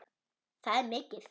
Það er mikið.